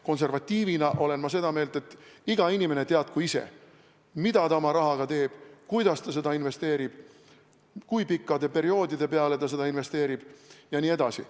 Konservatiivina olen ma seda meelt, et iga inimene teadku ise, mida ta oma rahaga teeb, kuidas ta seda investeerib, kui pika perioodi peale ta seda investeerib jne.